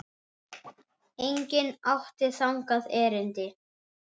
Enginn átti þangað erindi.